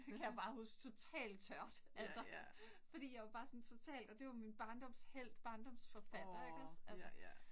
Det kan jeg bare huske totalt tørt, altså. Fordi jeg var bare sådan totalt og det var min barndomshelt, barndomsforfatter ikke også altså